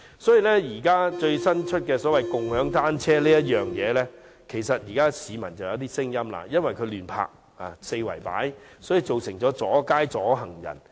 對於最新推出的共享單車計劃，其實市民已有一些意見，因為這些單車會被人四處亂泊，阻街阻行人。